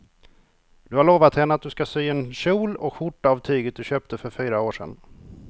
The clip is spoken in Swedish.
Du har lovat henne att du ska sy en kjol och skjorta av tyget du köpte för fyra år sedan.